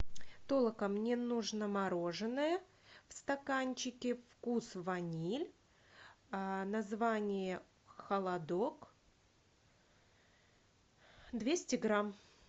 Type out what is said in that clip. толока мне нужно мороженое в стаканчике вкус ваниль название холодок двести грамм